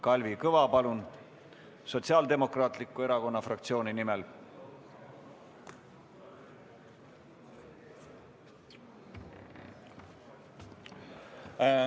Kalvi Kõva Sotsiaaldemokraatliku Erakonna fraktsiooni nimel, palun!